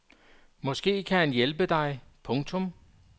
Måske kan han hjælpe dig. punktum